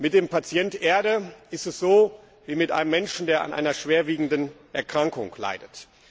Mit dem Patient Erde ist es so wie mit einem Menschen, der an einer schweren Erkrankung leidet.